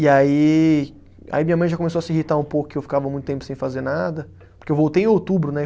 E aí, aí minha mãe já começou a se irritar um pouco que eu ficava muito tempo sem fazer nada, porque eu voltei em outubro, né?